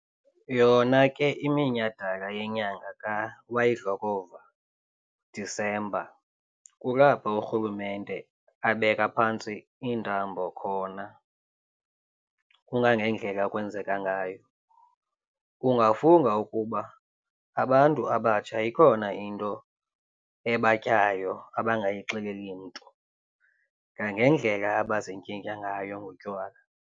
Yona ke iminyhadala yenyanga ka wayidlokova December kulapho urhulumente abeka phantsi iintambo khona kangangendlela ekwenzeka ngayo. Ungafunga ukuba abantu abatsha ikhona into ebatyayo abangayixeleli mntu ngangendlela abazintyintya ngayo ngotywala.